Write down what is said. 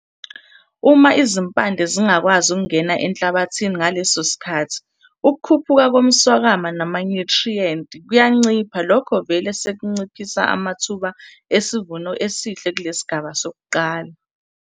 Uma izimpande zingakwazi ukungena enhlabathini ngaleso sikhathi ukukhuphuka komswakama namanyuthriyenti kuyancipha lokho vele sekunciphisa amathuba esivumo esihle kulesigaba sokuqala.